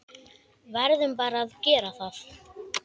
Verðum bara að gera það.